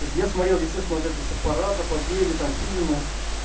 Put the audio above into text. то есть я смотрел естественно все парад о победе фильмы